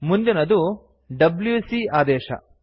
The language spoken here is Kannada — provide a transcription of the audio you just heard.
ಮುಂದಿನದು ಡಬ್ಯೂಸಿ ಆದೇಶ